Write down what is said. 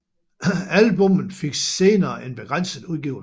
Albummet fik senere en begrænset udgivelse